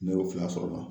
Ne y'o fila sɔrɔ o la